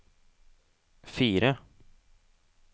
fire